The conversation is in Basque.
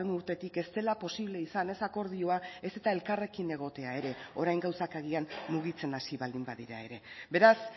urtetik ez dela posible izan ez akordioa ez eta elkarrekin egotea ere orain gauzak agian mugitzen hasi baldin badira ere beraz